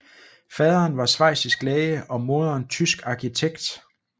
Faderen var schweizisk læge og moderen tysk arkitekt